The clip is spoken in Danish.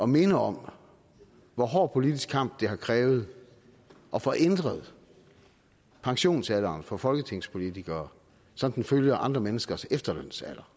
minde om hvor hård politisk kamp det har krævet at få ændret pensionsalderen for folketingspolitikere så den følger andre menneskers efterlønsalder